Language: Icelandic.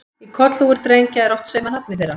Í kollhúfur drengja er oft saumað nafnið þeirra.